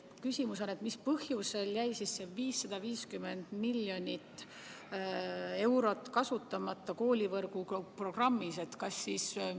Küsimus on järgmine: mis põhjusel jäi see 0,55 miljonit eurot koolivõrgu programmis kasutamata?